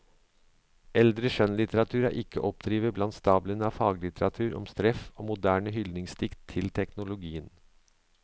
Eldre skjønnlitteratur er ikke å oppdrive blant stablene av faglitteratur om stress og moderne hyldningsdikt til teknologien.